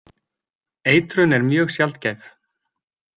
Eitrun er mjög sjaldgæf.